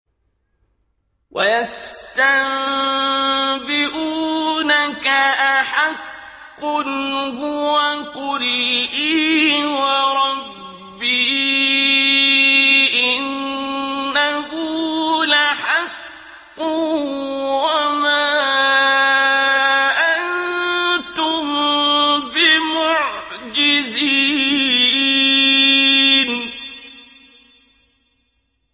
۞ وَيَسْتَنبِئُونَكَ أَحَقٌّ هُوَ ۖ قُلْ إِي وَرَبِّي إِنَّهُ لَحَقٌّ ۖ وَمَا أَنتُم بِمُعْجِزِينَ